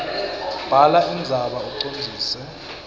bhala indzaba ucondzise